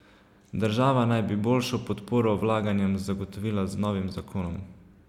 Država naj bi boljšo podporo vlaganjem zagotovila z novim zakonom.